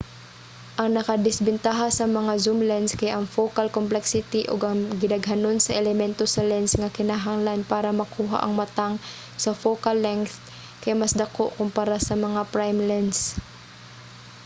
ang nakadisbentaha sa mga zoom lens kay ang focal complexity ug ang gidaghanon sa elemento sa lens nga kinahanglan para makuha ang matang sa focal length kay mas dako kumpara sa mga prime lens